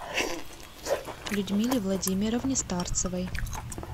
людмиле владимировне старцевой